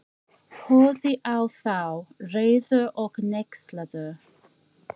Horfði á þá, reiður og hneykslaður.